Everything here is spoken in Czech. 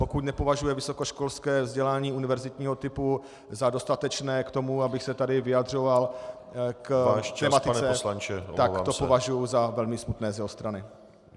Pokud nepovažuje vysokoškolské vzdělání univerzitního typu za dostatečné k tomu, abych se tady vyjadřoval k tematice , tak to považuji za velmi smutné z jeho strany.